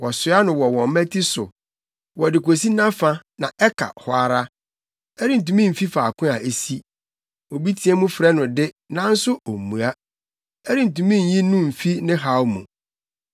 Wɔsoa no wɔ wɔn mmati so, wɔde kosi nʼafa, na ɛka hɔ ara. Ɛrentumi mfi faako a esi. Obi teɛ mu frɛ no de, nanso ommua; ɛrentumi nyi no mfi ne haw mu.